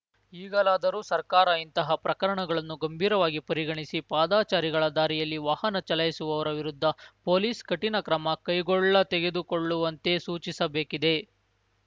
ಈಗಲಾದರೂ ಸರ್ಕಾರ ಇಂತಹ ಪ್ರಕರಣಗಳನ್ನು ಗಂಭೀರವಾಗಿ ಪರಿಗಣಿಸಿ ಪಾದಚಾರಿಗಳ ದಾರಿಯಲ್ಲಿ ವಾಹನ ಚಲಾಯಿಸುವವರ ವಿರುದ್ದ ಪೋಲಿಸ್ ಕಠಿಣ ಕ್ರಮ ಕೈಗೊಳ್ಳತೆಗೆದುಕೊಳ್ಳುವಂತೆ ಸೂಚಿಸಬೇಕಿದೆ